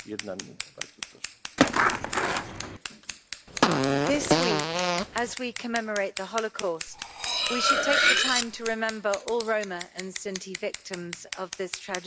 Mr President, this week as we commemorate the Holocaust, we should take the time to remember all Roma and Sinti victims of this tragedy.